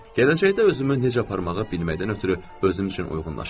Gələcəkdə özümü necə aparmağı bilməkdən ötrü özüm üçün uyğunlaşıram.